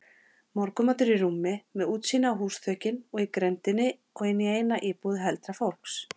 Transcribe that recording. Morgunmatur í rúmi, með útsýni á húsaþökin í grenndinni og inní eina íbúð heldra fólks.